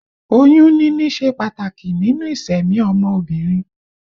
Oyún níní ṣe pàtàkì nínú ìsẹ̀mí ọmọ obìnrin